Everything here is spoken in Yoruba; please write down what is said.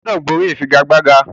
O gbúdọ̀ borí ìfigagbága!